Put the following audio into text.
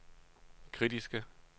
kritiske